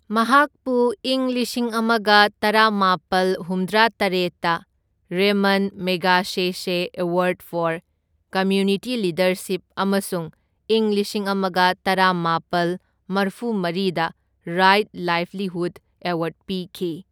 ꯃꯍꯥꯛꯄꯨ ꯢꯪ ꯂꯤꯁꯤꯡ ꯑꯃꯒ ꯇꯔꯥꯃꯥꯄꯜ ꯍꯨꯝꯗ꯭ꯔꯥꯇꯔꯦꯠꯇ Ramon Magsaysay award for community leadership ꯑꯃꯁꯨꯡ ꯢꯪ ꯂꯤꯁꯤꯡ ꯑꯃꯒ ꯇꯔꯥꯃꯥꯄꯜ ꯃꯔꯐꯨꯃꯔꯤꯗ ꯔꯥꯏꯠ ꯂꯥꯏꯕꯂꯤꯍꯨꯗ ꯑꯦꯋꯥꯔꯗ ꯄꯤꯈꯤ꯫